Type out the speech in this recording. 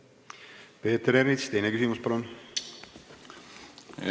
Peeter Ernits, teine küsimus, palun!